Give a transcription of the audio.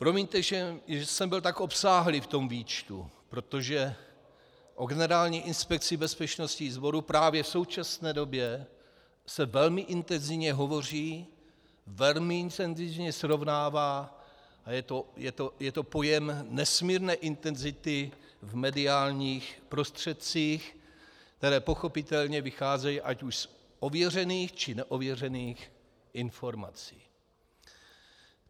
Promiňte, že jsem byl tak obsáhlý v tom výčtu, protože o Generální inspekci bezpečnostních sborů právě v současné době se velmi intenzivně hovoří, velmi intenzivně srovnává a je to pojem nesmírné intenzity v mediálních prostředcích, které pochopitelně vycházejí ať už z ověřených, či neověřených informací.